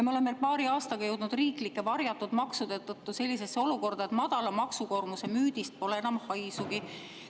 Me oleme paari aastaga jõudnud riiklike varjatud maksude tõttu sellisesse olukorda, et madala maksukoormuse müüdist pole enam haisugi.